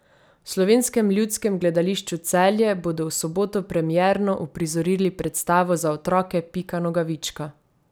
V Slovenskem ljudskem gledališču Celje bodo v soboto premierno uprizorili predstavo za otroke Pika Nogavička.